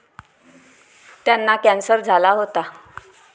त्यांना कॅन्सर झाला होता.